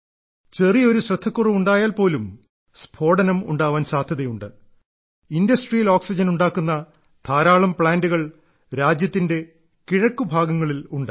ചെറിയൊരു ശ്രദ്ധക്കുറവ് ഉണ്ടായാൽ പോലും സ്ഫോടനം ഉണ്ടാവാൻ സാധ്യതയുണ്ട് വ്യാവസായിക ഓക്സിജൻ ഉണ്ടാക്കുന്ന ധാരാളം പ്ലാന്റുകൾ രാജ്യത്തിന്റെ കിഴക്കു ഭാഗങ്ങളിൽ ഉണ്ട്